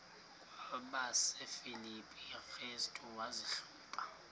kwabasefilipi restu wazihluba